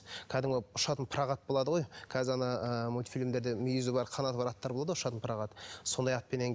кәдімгі ұшатын пырақ ат болады ғой қазір ана ы мультфильмдерде мүйізі бар қанаты бар аттар болады ғой ұшатын пырақ ат сондай атпенен